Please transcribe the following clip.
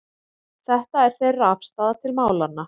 Þetta er þeirra afstaða til málanna